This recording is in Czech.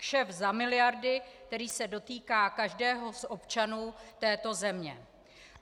Kšeft za miliardy, který se dotýká každého z občanů této země.